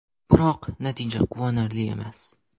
Biroq, natija quvonarli emas.